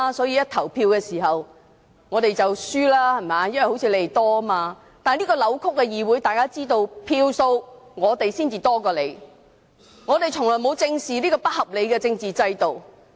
然而，在這個扭曲的議會裏，大家雖然知道我們在選舉所得票數比他們多，但我們從來沒有正視這個不合理的政治制度。